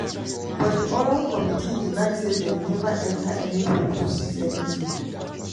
but di oral committee deny say dem neva enta any home to seize anytin.